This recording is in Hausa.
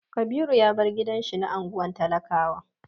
Kabiru ya bar gidan shi na unguwar talakawa.